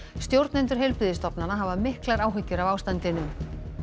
stjórnendur heilbrigðisstofnana hafa miklar áhyggjur af ástandinu